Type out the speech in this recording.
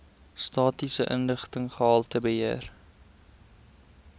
statistiese inligting gehaltebeheer